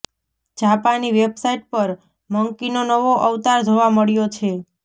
જાપાની વેબસાઈટ પર મંકીનો નવો અવતાર જોવા મળ્યો છે